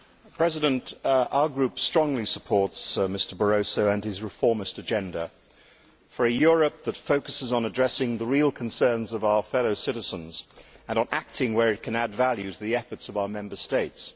Mr President, our group strongly supports Mr Barroso and his reformist agenda for a Europe that focuses on addressing the real concerns of our fellow citizens and on acting where it can add value to the efforts of our Member States.